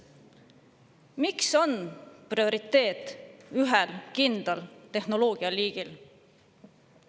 Miks on prioriteet ühel kindlal tehnoloogialiigil?